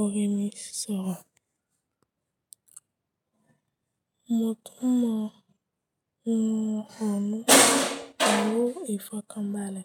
oremi sọ̀rọ̀. Mo tún mọ ohun ọ̀ọ̀rún owó ìfọkànbalẹ̀.